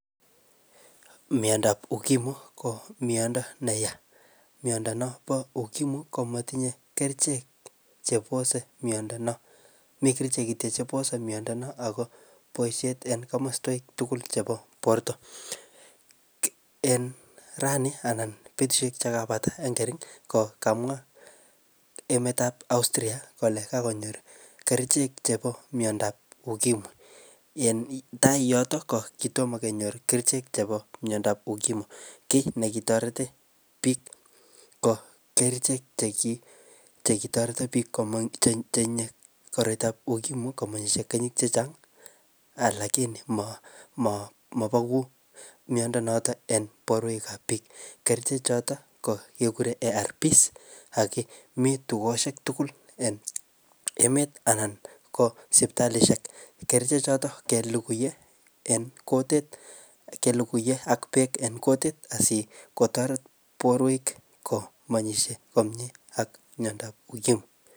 miondab ukimwi ko miondo neya miondab nompo ukimwi ko matinye kerichek cheposo miondo noo mikerichek kitiok chepose miondo noo agoo boishe en kamoswek tugul chepo borto en rani anan betushek chekapata en kering kokamwa emetab Austria kole kakonyor kerichek chepo miondab ukimwi yetai yoto kokitomo kopit kerichek chepo miondab ukimwi kit nekitoreti biik komeny keny cheinye koroitab ukimwi komeny kenyishek chechang alakini mobeku miondo notok en borwek ab biik kerche choten kekuren erpis ak mitukoshek tugul en emet anan ko sipitalishekkerche choton kelugui en kutit kelugui en ak beek en kutit asikotoret borwek kobois komye ak miondo ab ukimwi